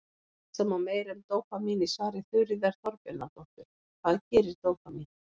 Lesa má meira um dópamín í svari Þuríðar Þorbjarnardóttur, Hvað gerir dópamín?